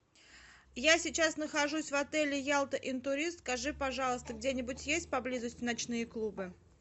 я сейчас нахожусь в отеле ялта интурист скажи пожалуйста где нибудь есть поблизости ночные клубы